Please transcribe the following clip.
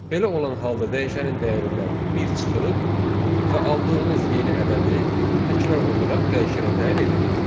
Belə olan halda dəyişənin dəyərindən bir çıxırıq və aldığımız yeni ədədi təkrar olaraq dəyişənə təyin edirik.